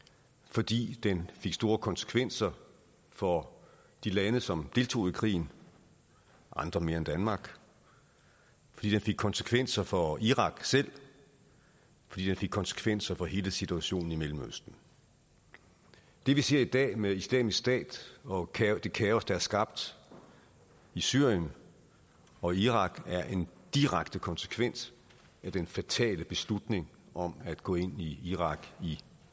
fordi den fik store konsekvenser for de lande som deltog i krigen andre mere end danmark fordi den fik konsekvenser for irak selv fordi den fik konsekvenser for hele situationen i mellemøsten det vi ser i dag med islamisk stat og det kaos der er skabt i syrien og irak er en direkte konsekvens af den fatale beslutning om at gå ind i irak i